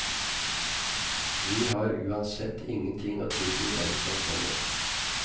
Vi har uansett ingenting å tilby dem som kommer.